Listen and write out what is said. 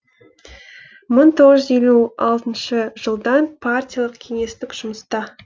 мың тоғыз жүз елу алтыншы жылдан партиялық кеңестік жұмыста